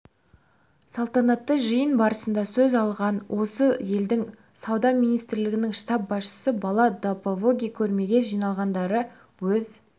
салтанатты жиын барысында сөз алған осы елдің сауда министрлігінің штаб басшысы бала допавоги көрмеге жиналғандарды өз